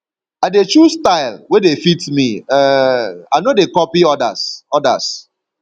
i dey choose style wey dey fit me um i no dey copy odas odas